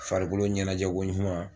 Farikolo ɲɛnajɛ koɲuman.